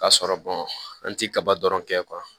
K'a sɔrɔ an ti kaba dɔrɔn kɛ